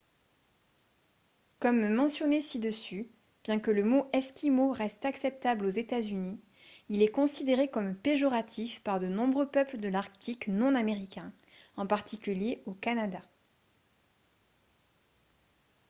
comme mentionné ci-dessus bien que le mot « esquimau » reste acceptable aux états-unis il est considéré comme péjoratif par de nombreux peuples de l’arctique non américains en particulier au canada